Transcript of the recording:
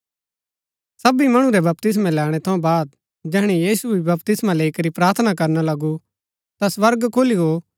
सबी मणु रै बपतिस्मा लैणै थऊँ बाद जैहणै यीशु भी बपतिस्मा लैई करी प्रार्थना करना लगू ता स्वर्ग खुली गो